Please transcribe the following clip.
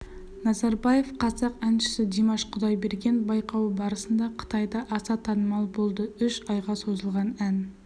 назарбаев қазақ әншісі димаш құдайберген байқауы барысында қытайда аса танымал болды үш айға созылған ән